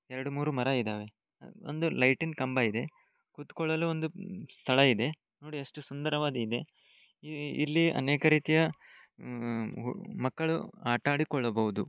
ಎರಡು-ಮೂರು ಮರ ಇದಾವೆ ಒಂದು ಲೈಟ್ ಕಂಬ ಇದೆ ಕುಳಿತುಕೊಳ್ಳಲು ಒಂದು ಸ್ಥಳ ಇದೆ ನೋಡಿ ಎಷ್ಟು ಸುಂದರವಾದಿದೆ . ಇಲ್ಲಿ ಅನೇಕ ರೀತಿಯ ಮಕ್ಕಳು ಆಟ ಆಡಿಕೊಳ್ಳಬಹುದು.